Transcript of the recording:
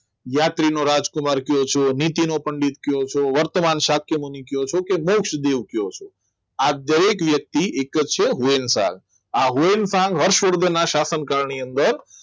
યાત્રી નો રાજકુમાર કેવો છે નીતિનો પણ કેવો છે વર્તમાન સ્થાન કેવો છે તો મોક્ષ દેવ કેવો છે આ દરેક વ્યક્તિ એક જ છે પણ કાળની અંદર હર્ષવર્ધનના સ્થાપનકાળ ની અંદર